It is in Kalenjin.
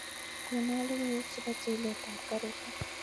Konon logoiywek chepo chilet ap karishek